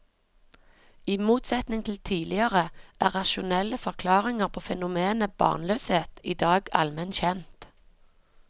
I motsetning til tidligere, er rasjonelle forklaringer på fenomenet barnløshet i dag allment kjent.